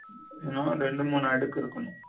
ரெண்டு மூனா எடுத்திருக்கனும்